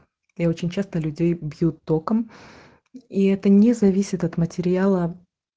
я очень часто людей бьют током и это не зависит от материала